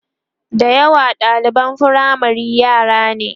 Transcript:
da yawa ɗaliban firamare yara ne